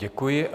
Děkuji.